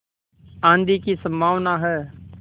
आँधी की संभावना है